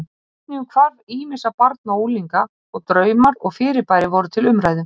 Einnig um hvarf ýmissa barna og unglinga og draumar og fyrirbæri voru til umræðu.